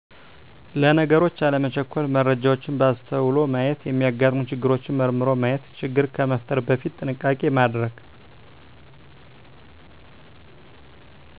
ለነገሮች አለመቸኮል መረጃዎችን በአስተዉሎ ማየት የሚያጋጥሙ ችግሮችን መርምሮ ማየት ችግር ከመፍጠር በፊት ጥንቃቄ ማድረግ